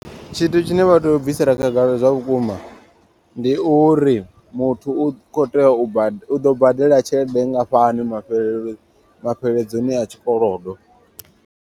Tshithu tshine vha tea u bvisela khagala zwavhukuma. Ndi uri muthu u kho tea u badela u ḓo badela tshelede nngafhani mafhelo mafheledzoni a tshikolodo.